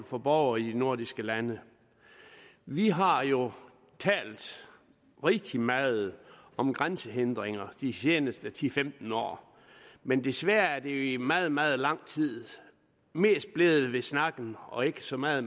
for borgere i de nordiske lande vi har jo talt rigtig meget om grænsehindringer de seneste ti til femten år men desværre er det jo i meget meget lang tid mest blevet ved snakken og ikke så meget